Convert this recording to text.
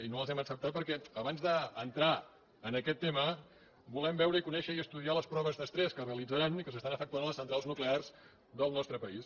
i no les hem acceptades perquè abans d’entrar en aquest tema volem veure conèixer i estu diar les proves d’estrès que es realitzaran i que s’estan efectuant a les centrals nuclears del nostre país